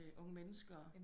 Til unge mennesker